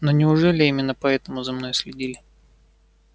но неужели именно поэтому за мной следили